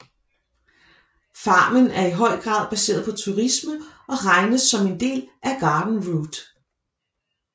Farmen er i høj grad baseret på turisme og regnes som en del af Garden Route